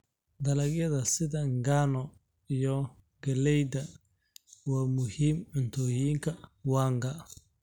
Dalagyada sida ngano iyo galayda waa muhiim cuntooyinka wanga.